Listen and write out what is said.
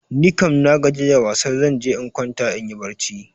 Nikam nagaji da wasar, zan je in kwanta inyi barci.